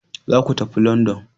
Za ku tafi London!